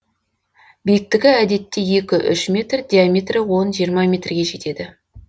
биіктігі әдетте екі үш метр диаметрі он жиырма метрге жетеді